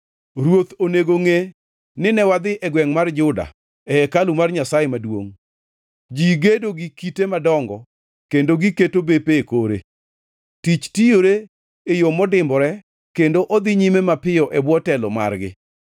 Ruoth onego ngʼe nine wadhi e gwengʼ mar Juda, e hekalu mar Nyasaye maduongʼ. Ji gedo gi kite madongo kendo giketo bepe e kore. Tich tiyore e yo modimbore kendo odhi nyime mapiyo e bwo telo margi.